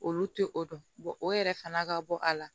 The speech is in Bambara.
Olu tɛ o dɔn o yɛrɛ fana ka bɔ a la